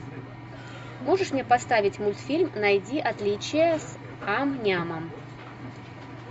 можешь мне поставить мультфильм найди отличия с ам нямом